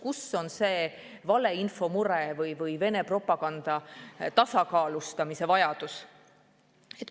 Kus on see valeinfo mure või Vene propaganda tasakaalustamise vajadus?